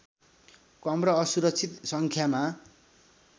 कम र असुरक्षित सङ्ख्यामा